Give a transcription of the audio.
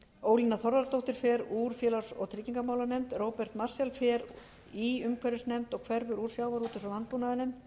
ólína þorvarðardóttir fer úr félags og tryggingamálanefnd róbert marshall fer í umhverfisnefnd og hverfur úr sjávarútvegs og landbúnaðarnefnd